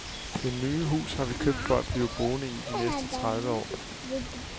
Det nye hus har vi købt for at blive boende i de næste tredive år.